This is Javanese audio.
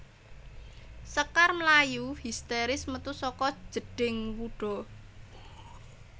Sekar mlayu histèris metu saka jedhing wuda